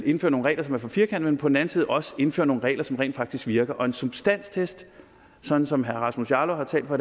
indfører nogle regler som er for firkantede men på den anden side også indfører nogle regler som rent faktisk virker og en substanstest sådan som herre rasmus jarlov har talt for